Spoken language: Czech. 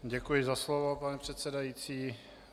Děkuji za slovo, pane předsedající.